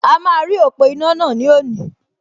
A máa rí ọ̀pọ̀ iná náà ní òní